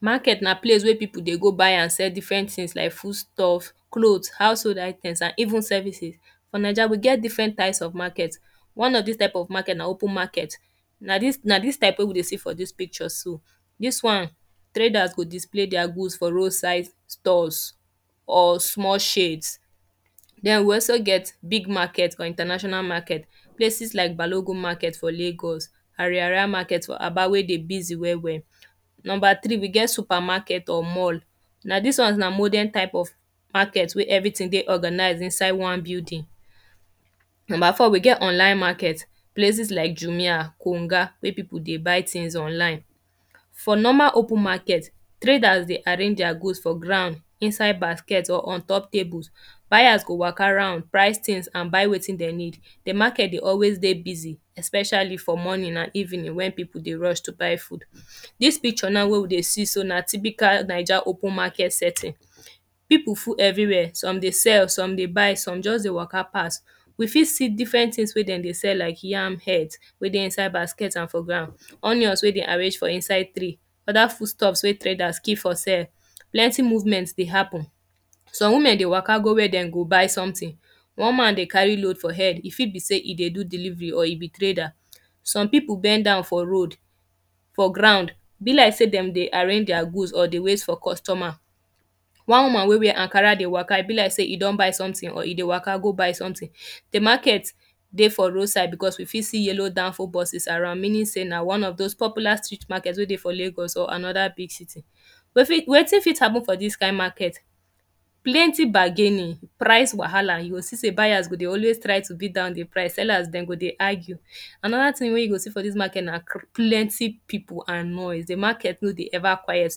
Market na place where people dey go buy and sell different things like foodstuff, cloth, household items and even services. For Naija we get different types of market. One of des types of market na open market. Na dis, na dis type wey we dey see for dis picture so. Dis one, traders go display their goods for road side stores or small shades. Den we also get big market for international market. Places like balogun market for lagos, ariaria market for aba wey dey busy well well. Number three, we get supermarket or mall. Na dis one na modern type of market wey everything dey organize for inside one building. Number four, we get online market. Places like jumia, konga wey people dey buy things online. For normal open market, traders dey arrange their goods for ground, inside basket or on top tables. Buyers go waka round, price things and buy wetin dem need. The market dey always dey always dey busy especially for morning and evening when people dey rush to buy food erm. Dis picture now wey we dey see so, na typical Naija open market setting. People full everywhere. Some dey sell, some dey buy some just dey waka pass. We fit see different things wey dem dey sell like yam head wey dey inside basket and for ground, onions wey dem arrange for inside tray, other foodstuffs wey traders keep for cell. Plenty movement dey happen. Some women dey waka go where dem go buy something. One man dey carry load for head. E fit be sey e dey do delivery or e be trader. Some people bend down for road, for ground. E be like sey dem dey arrange their goods or dey wait for customer. One woman wey wear ankara dey waka, e be like sey e don buy something or e dey waka go buy something. The market dey for road side because we fit see yellow danfo buses around. Meaning sey na one of dos popular street mafrket wey dey for lagos or another big city. Wetin fit happen for dis kind market? Plenty bargaining, price wahala. You go see sey buyers go dey always try to beat down the price, sellers dem go dey argue. Another thing wey you go see for dis market na plenty people and noise. The market no dey ever quiet.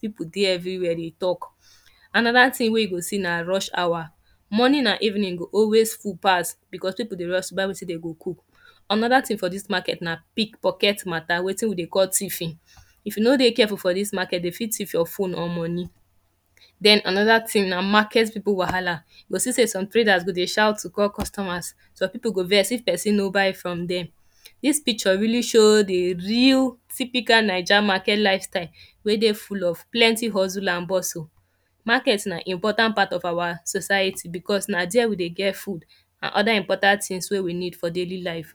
People dey everywhere dey talk. Another thing wey you go see na rush hour. Morning and evening go always full pass because people dey rush buy wetim dem go cook. Another thing for dis market na pick picket matter. Wetin we dey call thiefing. If you no dey careful for dis market, dem fit thief your phone or money. Den another thing na market people wahala. You go see sey some traders go dey shout to call customers. Some people go vex if person no buy from dem. Dis picture really show the real typical Naija market lifestyle wey dey full of plenty hustle and bustle. Market na important part of our society because na dere we dey get food and other important things wey we need for daily life.